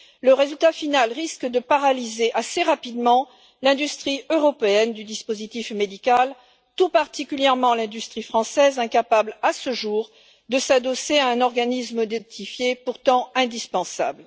le résultat final risque de paralyser assez rapidement le secteur européen du dispositif médical, tout particulièrement le secteur français, incapable à ce jour de s'adosser à un organisme notifié pourtant indispensable.